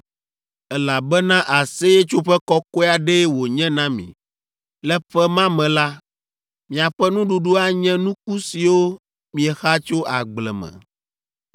elabena Aseyetsoƒe kɔkɔe aɖee wònye na mi. Le ƒe ma me la, miaƒe nuɖuɖu anye nuku siwo miexa tso agble me.